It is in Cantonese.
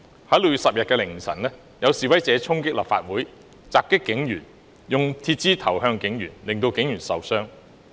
在6月10日凌晨，有示威者衝擊立法會，襲擊警員，用鐵枝擲向警員，令警員受傷。